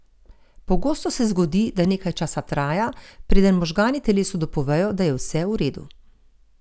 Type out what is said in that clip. Pogosto se zgodi, da nekaj časa traja, preden možgani telesu dopovejo, da je vse v redu.